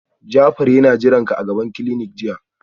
Jafar yana jiranka a gaban clinic jiya